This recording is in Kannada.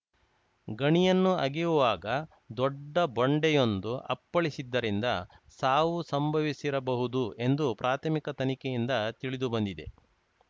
ಗಣಿಯನ್ನು ಅಗೆಯುವಾಗ ದೊಡ್ಡ ಬಂಡೆಯೊಂದು ಅಪ್ಪಳಿಸಿದ್ದರಿಂದ ಸಾವು ಸಂಭವಿಸಿರಬಹುದು ಎಂದು ಪ್ರಾಥಮಿಕ ತನಿಖೆಯಿಂದ ತಿಳಿದುಬಂದಿದೆ